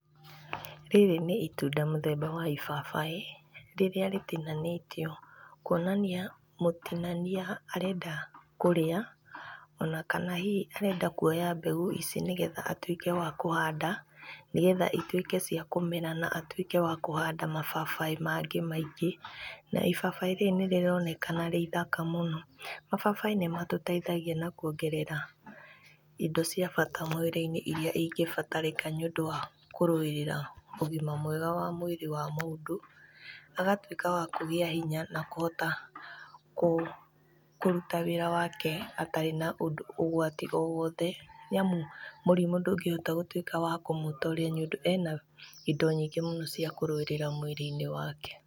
Rĩrĩ nĩ itunda mũthemba wa ibabaĩ,r ĩrĩa rĩtinanĩtio kwonania mũtinania arenda kũrĩa ona kana hihi arenda kwoya mbegũ ici nĩgetha atuĩke wa kũhanda nĩgetha ituĩke ciakũmera na atuĩke wakũhanda mababaĩ mangĩ maingĩ na ibabaĩ rĩrĩ nĩ rĩronekana rĩithaka mũno. Mababaĩ nĩ matũteithagia na kwongerera indo cia bata mwĩrĩ-inĩ irĩa ingĩbatarĩka nĩũndũ wa kũrũirĩra ũgima mwega wa mwĩrĩ wa mũndũ, agatuĩka wa kũgĩa hinya na kũhota kũruta wĩra wake atarĩ na ũgwati owothe, nĩamu mũrimũ ndũngĩhota gũtuĩka wakũmũtoria nĩ ũndũ ena indo nyingĩ mũno cia kũrũĩrĩra mwĩrĩ-inĩ wake.